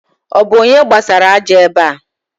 Ọ bu onye gbasara aja ebe a?